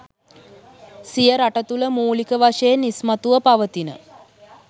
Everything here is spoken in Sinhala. සිය රට තුළ මූලික වශයෙන් ඉස්මතුව පවතින